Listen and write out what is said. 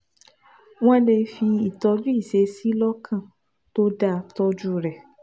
Wọ́n lè fi ìtọ́jú ìṣesí lọ́kàn tó dáa tọ́jú rẹ̀